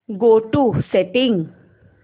go to settings